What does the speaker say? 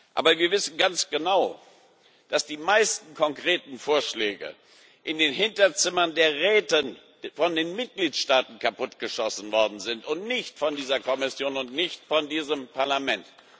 Aber wir wissen ganz genau, dass die meisten konkreten Vorschläge in den Hinterzimmern der Räte von den Mitgliedstaaten kaputtgeschossen worden sind und nicht von dieser Kommission und nicht von diesem Parlament.